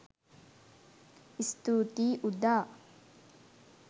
ස්තුතියි උදා